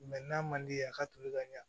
n'a man di ye a ka toli ka ɲa